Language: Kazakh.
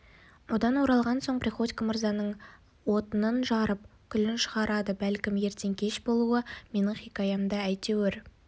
одан оралған соң приходько мырзаның отынын жарып күлін шығарады бәлкім ертең кеш болуы менің хикаямды әйтеуір